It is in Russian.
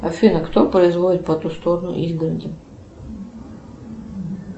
афина кто производит по ту сторону изгороди